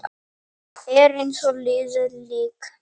Er eins og liðið lík.